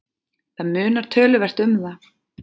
Það munar töluvert um það.